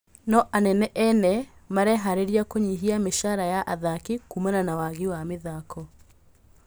No anene ene mareharĩria kũnyihia mĩcara ya athaki kumana na wagi wa mĩthako.